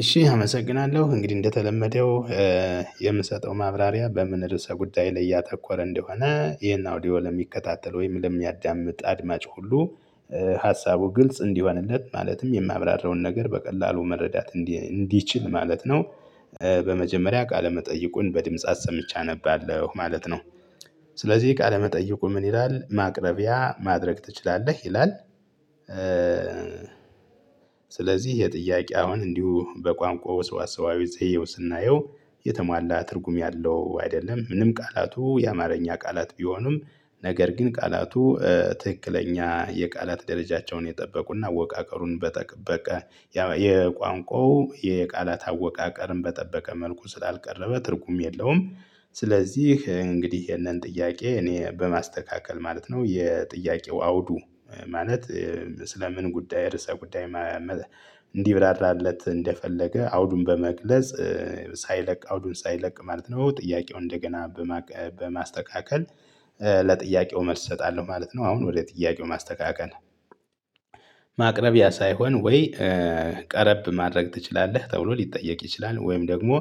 እሺ አመሰግናለሁ እንግዲህ እንደተለመደው የምሰጠው ማብራሪያ በምን ርዕሰ ጉዳይ ላይ ያተኮረ እንደሆነ ይሄን አውዲዮ ለሚከታተል ወይም ለሚያዳምጥ አድማጭ ሁሉ ሀሳቡ ግልጽ እንዲሆንለት ማለትም የማብራራውን ነገር በቀላሉ መረዳት እንዲችል ማለት ነው። በመጀመሪያ ቃለመጠይቁን በድምጽ አሰምቼ አነባለሁ ማለት ነው። ስለዚህ ቃለመጠይቁ ምን ይላል ማቅረቢያ ማድረግ ትችላለህ ይላል? ስለዚህ የጥያቄ አሁን እንዲሁ በቋንቋው ወስዋሳዌ ዘዬው ስናየው የተሟላ ትርጉም ያለው አይደለም ምንም ቃላቱ የአማርኛ ቃላት ቢሆኑም ነገር ግን ቃላቱ ትክክለኛ የቃላት ደረጃቸውን የጠበቁና አወቃቀሩን በጠበቀ የቋንቋው የቃላት አወቃቀርን በጠበቀ መልኩ ስላልቀረበ ትርጉም የለውም። ስለዚህ እንግዲህ ይሄንን ጥያቄ እኔ በማስተካከል ማለት ነው የጥያቄው አውዱ ማለት ስለ ምን ጉዳይ ርዕሰ ጉዳይ እንዲብራራለት እንደፈለገ አውዱን በመግለጽ ሳይለቅ አውዱን ሳይለቅ ማለት ነው ጥያቄውን እንደገና በማስተካከል ለጥያቄው መልስ እሰጣለሁ ማለት ነው። አሁን ወደ ጥያቄው ማስተካከል ማቅረቢያ ሳይሆን ወይ ቀረብ ማድረግ ትችላለህ ተብሎ ሊጠየቅ ይችላል ወይም ደግሞ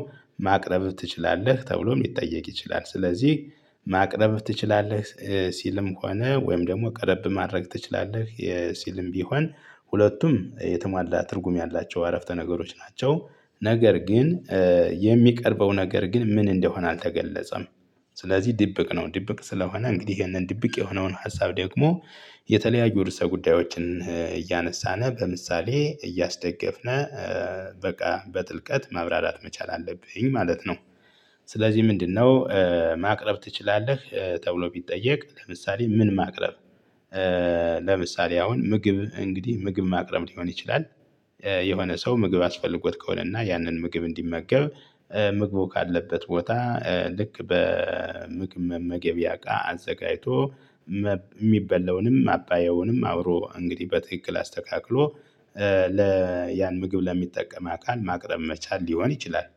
ማቅረብ ትችላለህ ተብሎ ሊጠየቅ ይችላል። ስለዚህ ማቅረብ ትችላለህ ሲልም ሆነ ወይም ደግሞ ቀረብ ማድረግ ትችላለህ የሲልም ቢሆን ሁለቱም የተሟላ ትርጉም ያላቸው አረፍተ ነገሮች ናቸው። ነገር ግን የሚቀርበው ነገር ግን ምን እንደሆነ አልተገለጸም። ስለዚህ ድብቅ ነው ድብቅ ስለሆነ እንግዲህ ይሄንን ድብቅ የሆነውን ሀሳብ ደግሞ የተለያዩ ርዕሰ ጉዳዮችን እያነሳን በምሳሌ እያስደገፍን በቃ በጥልቀት ማብራራት መቻል አለብኝ ማለት ነው። ስለዚህ ምንድነው? ማቅረብ ትችላለህ ተብሎ ቢጠየቅ ምሳሌ ምን ማቅረብ ለምሳሌ አሁን ምግብ እንግዲህ ምግብ ማቅረብ ሊሆን ይችላል። የሆነ ሰው ምግብ አስፈልጎት ከሆነና ያንን ምግብ እንዲመገብ ምግቡ ካለበት ቦታ ልክ በምግብ መመገቢያ እቃ አዘጋጅቶ የሚበለውንም አባያውንም አብሮ እንግዲህ በትክክል አስተካክሎ ለ ያን ምግብ ለሚጠቀም አካል ማቅረብ መቻል ሊሆን ይችላል።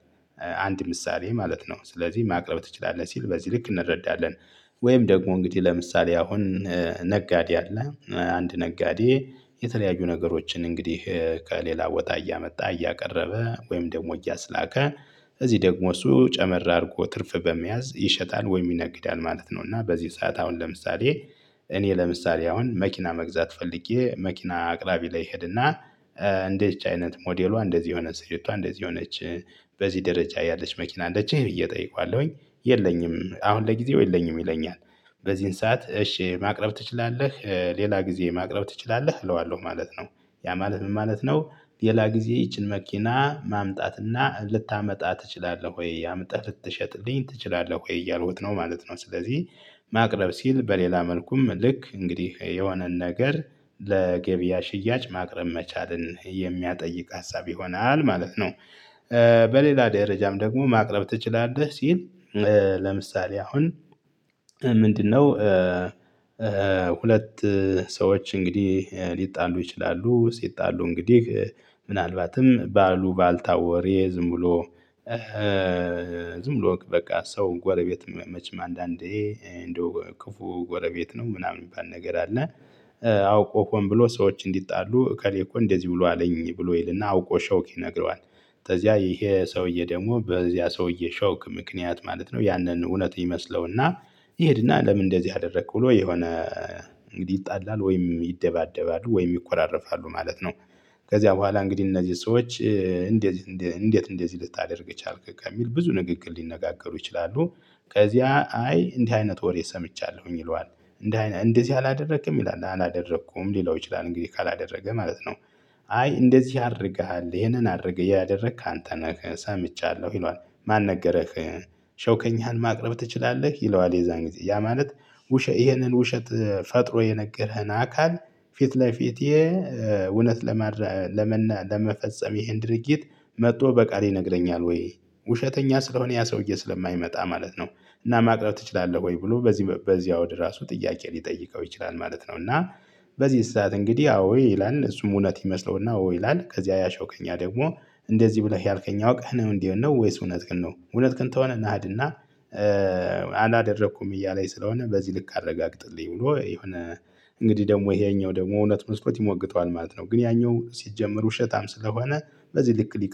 አንድ ምሳሌ ማለት ነው ስለዚህ ማቅረብ ትችላለህ ሲል በዚህ ልክ እንረዳለን። ወይም ደግሞ እንግዲህ ለምሳሌ አሁን ነጋዴ አለ አንድ ነጋዴ የተለያዩ ነገሮችን እንግዲህ ከሌላ ወጣ እያመጣ እያቀረበ ወይም ደግሞ እያስላከ እዚህ ደግሞ እሱ ጨመር አድርጎ ትርፍ በመያዝ ይሸጣል ወይ ይነግዳል ማለት ነው። እና በዚህ ሰዓት አሁን ለምሳሌ እኔ ለምሳሌ አሁን መኪና መግዛት ፈልጌ መኪና አቅራቢ ላይ ሄድና እንደዚቺ አይነት ሞዴሎ እንደዚህ የሆነ ስፌቷ እንደዚህ የሆነች በዚህ ደረጃ ያለች መኪና አለችህ ብየ እጠይቀዋለሁኝ። የለኝም አሁን ለጊዜው የለኝም ይለኛል። በዚህን ሰዓት እሺ ማቅረብ ትችላለህ ሌላ ጊዜ ማቅረብ ትችላለህ እለዋለሁ ማለት ነው። ያ ማለት ምን ማለት ነው? ሌላ ጊዜ ይቺን መኪና ማምጣትና ልታመጣ ትችላለህ ወይ አምህ ልትሸጥልኝ ትችላለህ ወይ እያልኩት ነው ማለት ነው። ስለዚህ ማቅረብ ሲል በሌላ መልኩም ልክ እንግዲህ የሆነን ነገር ለገበያ ሽያጭ ማቅረብ መቻልን የሚያጠይቅ ሀሳብ ይሆናል ማለት ነው። በሌላ ደረጃም ደግሞ ማቅረብ ትችላለህ ሲል? ለምሳሌ አሁን ምንድነው? ሁለት ሰዎች እንግዲህ ሊጣሉ ይችላሉ ሲጣሉ እንግዲህ ምናልባትም ባሉ ባልታወሬ ዝም ብሎ ዝም ብሎ በቃ ሰው ጎረቤት መቼም አንዳንዴ እንደው ክፉ ጎረቤት ነው ምናምን የሚባል ነገር አለ። አውቆ ሆን ብሎ ሰዎች እንዲጣሉ እከሌ እኮ እንደዚህ ብሎ አለኝ ብሎ ይልና አውቆ ሸውክ ይነግረዋል። ከዚያ ይሄ ሰውዬ ደግሞ በዚያ ሰውዬ ሸውክ ምክንያት ማለት ነው ያንን እውነት ይመስለውና ይሄድና ለምን እንደዚህ አደረክ ብሎ የሆነ እንግዲህ ይጣላል ወይም ይደባደባሉ ወይም ይኮራረፋሉ ማለት ነው። ከዚያ በኋላ እንግዲህ እነዚህ ሰዎች እንዴት እንዴት እንዴት ልታደርግ ቻልክ ከሚል ብዙ ንግግር ሊነጋገሩ ይችላሉ። ከዚያ አይ እንዲህ አይነት ወሬ ሰምቻለሁኝ ይለዋል እንደ እንደዚህ አላደረክም ይላል አላደረኩም ሌላው ይችላል እንግዲህ ካላደረገ ማለት ነው። አይ እንደዚህ አድርገሃል ይሄንን አድርገህ ያደረግክ አንተነህ ሳምቻለሁ ይለዋል ማን ነገረህ? ሸውከኛን ማቅረብ ትችላለህ ይለዋል የዛን ጥያ ማለት ይህንን ውሸት ፈጥሮ የነገረኸን አካል ፊት ለፊቴ እውነት ለመፈጸም ይሄን ድርጊት መጥቶ በቃል ይነግረኛል ወይ ውሸተኛ ስለሆነ ያ ሰውዬ ስለማይመጣ ማለት ነው። እና ማቅረብ ትችላለህ ወይ ብሎ በዚህ በዚህ ወደ ራሱ ጥያቄ ሊጠይቀው ይችላል ማለት ነው። እና በዚህ ሰዓት እንግዲህ አዎ ይላል እሱም እውነት ይመስለውና አዎ ይላል ከዚያ ያ ሸዉከኛ ደግሞ እንደዚህ ብለህ ያልከኛ እወቅህ ነው እንዴ ነው ወይስ እውነት ግን ነው እውነት ግን ተሆነ እናድና አላደረኩም እያለኝ ስለሆነ በዚህ ልክ አረጋግጥልኝ ብሎ የሆነ እንግዲህ ደግሞ ይሄኛው ደግሞ እውነት መስሎት ይሞግተዋል ማለት ነው። ግን ያኛው ሲጀመር ውሸታም ስለሆነ በዚህ ልክ ሊቀ